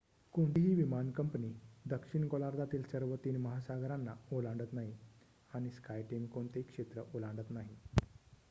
कोणतीही विमान कंपनी दक्षिण गोलार्धातील सर्व तीन महासागरांना ओलांडत नाही आणि स्काय टीम कोणतेही क्षेत्र ओलांडत नाही